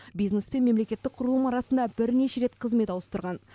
бизнес пен мемлекеттік құрылым арасында бірнеше рет қызмет ауыстырған